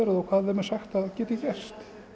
og hvað þeim er sagt hvað geti gerst